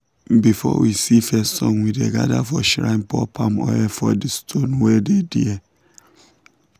before we see first sun we dey gather for shrine pour palm oil for the stone wey dey there.